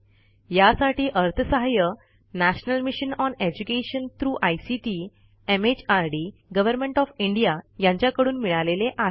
यासाठी अर्थसहाय्य national mission on education through ICT MHRD government of India यांच्याकडून मिळालेले आहे